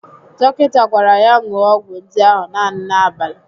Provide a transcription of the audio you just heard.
Dọkịta gwara ya ṅụọ ọgwụ ndị ahụ naanị n'abalị